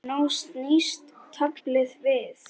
Og nú snýst taflið við.